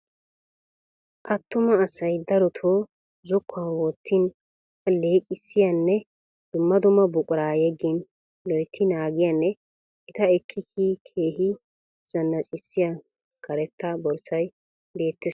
Attuma asay daroto zokkuwan wottin alleeqissiyanne dumma dumma buquraa yeeggin loyitti naagiyanne eta ekki kiyin keehi zanaccissiya karetta borssay beettes.